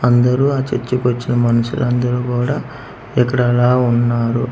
అందరూ ఆ చర్చి కి వచ్చిన మనుషులు అందరు కుడా ఇక్కడ ఇలా ఉన్నారు.